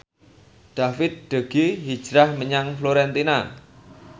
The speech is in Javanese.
David De Gea hijrah menyang Fiorentina